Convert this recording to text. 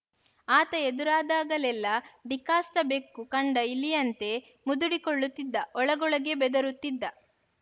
ಆತ ಎದುರಾದಾಗಲೆಲ್ಲ ಡಿಕಾಷ್ಟಬೆಕ್ಕು ಕಂಡ ಇಲಿಯಂತೆ ಮುದುಡಿ ಕೊಳ್ಳುತ್ತಿದ್ದ ಒಳಗೊಳಗೇ ಬೆದರುತ್ತಿದ್ದ